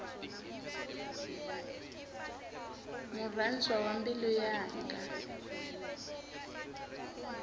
murhandzwa wa mbilu yanga